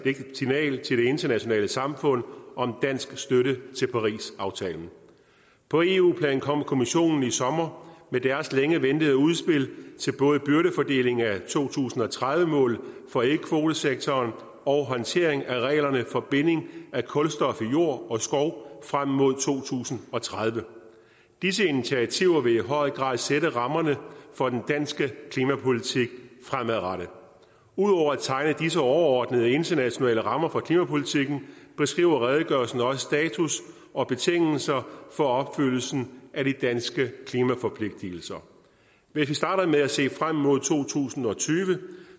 signal til de internationale samfund om dansk støtte til parisaftalen på eu plan kom kommissionen i sommer med deres længe ventede udspil til både byrdefordeling af to tusind og tredive målet for ikkekvotesektoren og håndtering af reglerne for binding af kulstof i jord og skov frem mod to tusind og tredive disse initiativer vil i høj grad sætte rammerne for den danske klimapolitik fremadrettet ud over at tegne disse overordnede internationale rammer for klimapolitikken beskriver redegørelsen også status og betingelser for opfyldelsen af de danske klimaforpligtelser hvis vi starter med at se frem mod to tusind og tyve